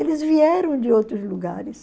Eles vieram de outros lugares.